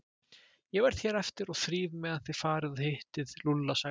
Ég verð hér eftir og þríf meðan þið farið og hittið Lúlla sagði